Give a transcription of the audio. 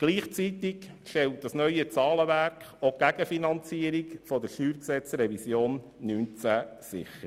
Gleichzeitig stellt das neue Zahlenwerk auch die Gegenfinanzierung der StGRevision 2019 sicher.